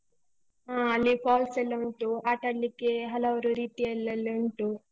ಹಾ ಅಲ್ಲಿ falls ಎಲ್ಲ ಉಂಟು, ಆಟಾಡ್ಲಿಕ್ಕೆ ಹಲವು ರೀತಿಯಲ್ಲೆಲ್ಲ ಉಂಟು.